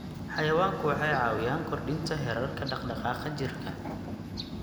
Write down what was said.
Xayawaanku waxay caawiyaan kordhinta heerarka dhaqdhaqaaqa jirka.